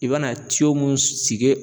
I be na tiyo munnu sigi